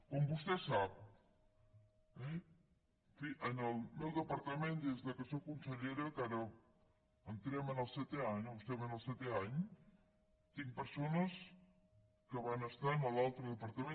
com vostè sap eh en fi en el meu departament des que sóc consellera que ara entrem en el setè any o estem en el setè any tinc persones que van estar en l’altre departament